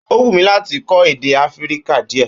Ó wù mí láti kó èdè áfíríkà díè